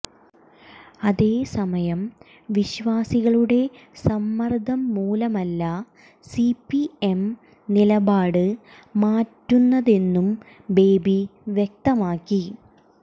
അതേ സമയം വിശ്വാസികളുടെ സമ്മര്ദ്ദം മൂലമല്ല സിപിഎം നിലപാട് മാറ്റുന്നതെന്നും ബേബി വ്യക്തമാക്കി